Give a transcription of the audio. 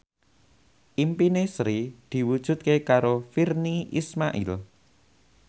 impine Sri diwujudke karo Virnie Ismail